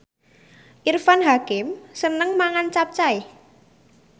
Irfan Hakim seneng mangan capcay